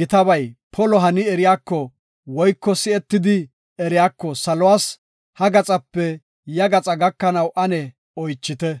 gitabay polo hani eriyako woyko si7etidi eriyako saluwas ha gaxape ya gaxaa gakanaw ane oychite.